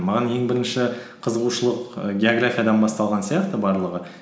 маған ең бірінші қызығушылық ііі географиядан басталған сияқты барлығы